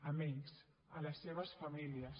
amb ells les seves famílies